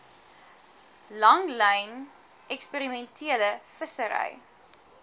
langlyn eksperimentele vissery